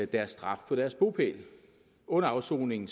deres straf på deres bopæl under afsoningen